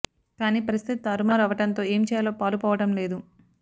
కాని పరిస్థితి తారు మారు అవ్వడంతో ఏం చేయాలో పాలు పోవడం లేదు